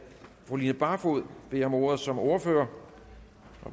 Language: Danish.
fru line barfod beder om ordet som ordfører